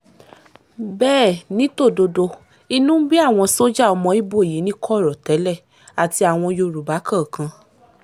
bẹ́ẹ̀ ni tòdodo inú ń bí àwọn sójà ọmọ ibo yìí ní kọ̀rọ̀ tẹ́lẹ̀ àti àwọn yorùbá kọ̀ọ̀kan